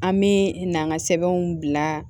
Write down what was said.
An bɛ n'an ka sɛbɛnw bila